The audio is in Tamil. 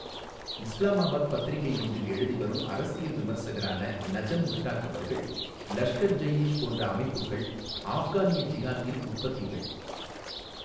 இஸ்லாமாபாத் பத்திரிக்கை ஒன்றில் எழுதிவரும் அரசியல் விமர்சகரான நஜம் முஷ்டாகவர்கள் லஷ்கர் ஜெயீஷ் போன்ற அமைப்புக்கள் ஆஃப்கானிய ஜிஹாத்தின் உற்பத்திகள்.